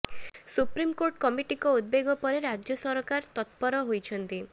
supreme court କମିଟିଙ୍କ ଉଦବେଗ ପରେ ରାଜ୍ୟ ସରକାର ତତ୍ପର ହୋଇଛନ୍ତି